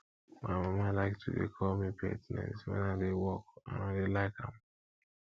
my mama like to dey call me pet names wen i dey work and i dey like am